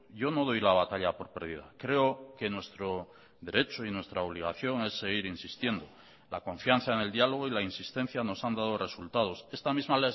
yo no doy la batalla por pérdida creo que nuestro derecho y nuestra obligación es seguir insistiendo la confianza en el diálogo y la insistencia nos han dado resultados esta misma